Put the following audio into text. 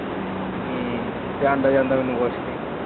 ਹਮ ਤੇ ਆਂਦਾ ਜਾਂਦਾ ਮੈਨੂੰ ਕੁਛ ਨਹੀਂ।